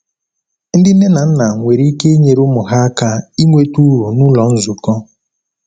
Ndị nne na nna nwere ike inyere ụmụ ha aka inweta uru n’ụlọ nzukọ.